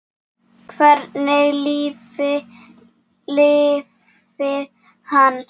Hvernig lífi lifir hann?